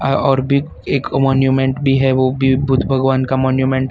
और बिग एक मॉन्यूमेंट भी है वो भी बुद्ध भगवान का मॉन्यूमेंट है।